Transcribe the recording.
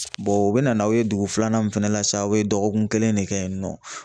u bina n'aw ye dugu filanan min fana la sa, aw bi dɔgɔkun kelen ne kɛ yen nɔ.